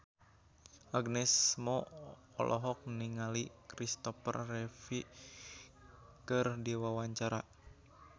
Agnes Mo olohok ningali Kristopher Reeve keur diwawancara